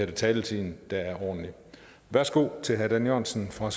taletiden der er ordentlig værsgo til herre dan jørgensen fra